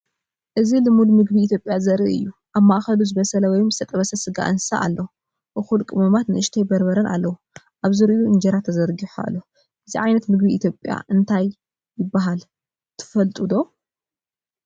እዚ ልሙድ ምግቢ ኢትዮጵያ ዘርኢ እዩ። ኣብ ማእከሉ ዝበሰለ ወይ ዝተጠበሰ ስጋ እንስሳ ኣለዎ፣ እኹል ቀመማት፣ ንእሽቶ በርበረን ኣለዎ። ኣብ ዙርያኡ እንጀራ ተዘርጊሑ ኣሎ። እዚ ዓይነት ምግቢ ኣብ ኢትዮጵያ እንታይ ይበሃል ትፈልጡ ዶ?